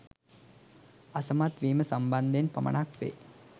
අසමත් වීම සම්බන්ධයෙන් පමණක් වේ